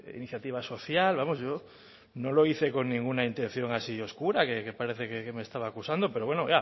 iniciativa social vamos yo no lo hice con ninguna intención oscura que parece que me estaba acusando pero bueno